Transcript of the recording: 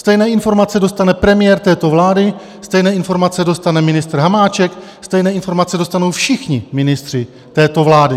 Stejné informace dostane premiér této vlády, stejné informace dostane ministr Hamáček, stejné informace dostanou všichni ministři této vlády.